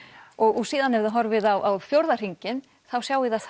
og síðan ef þið horfið á fjóra hringinn sjáið þið að